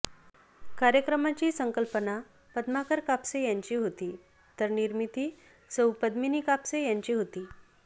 कार्यक्रमाची संकल्पना पद्माकर कापसे यांची होती तर निर्मिती सौ पद्मिनी कापसे यांची होती